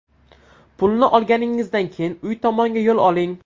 Pulni olganingizdan keyin uy tomonga yo‘l oling.